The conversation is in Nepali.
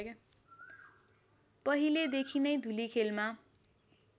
पहिलेदेखि नै धुलिखेलमा